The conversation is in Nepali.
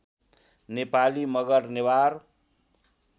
नेपाली मगर नेवार